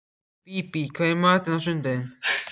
Bíbí, hvað er í matinn á sunnudaginn?